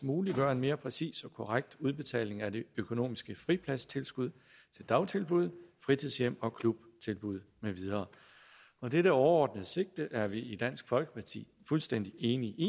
muliggøre en mere præcis og korrekt udbetaling af de økonomiske fripladstilskud til dagtilbud fritidshjem og klubtilbud med videre dette overordnede sigte er vi i dansk folkeparti fuldstændig enige i